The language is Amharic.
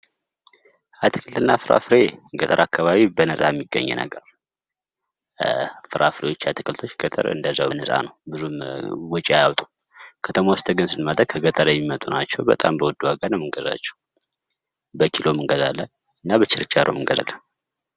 አትክልትና ፍራፍሬ ገጠር አካባቢ በነጻ የሚገኝ ነገር ነው። ፍራፍሬዎች አትክልቶች ገጠር እንደዛ በነጻ ነው። ብዙም ወጪ አያወጡም። ከተማ ውስጥ ግን ስንመጣ ከገጠር የሚመጡ ናቸው ።በጣም በውድ ዋጋ ነው የምንገዛቸው። በኪሎም እንገዛለን እና በችርቻሮም እንገዛለን።